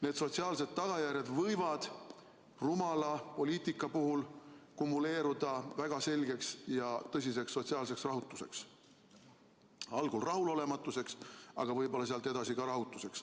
Need sotsiaalsed tagajärjed võivad rumala poliitika puhul kumuleeruda väga selgeks ja tõsiseks sotsiaalseks rahutuseks, algul rahulolematuseks, aga võib-olla sealt edasi ka rahutuseks.